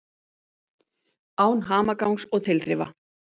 Án hamagangs og tilþrifa.